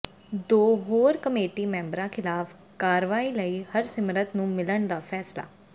ਦੋ ਹੋਰ ਕਮੇਟੀ ਮੈਂਬਰਾਂ ਖ਼ਿਲਾਫ਼ ਕਾਰਵਾਈ ਲਈ ਹਰਸਿਮਰਤ ਨੂੰ ਮਿਲਣ ਦਾ ਫੈਸਲਾ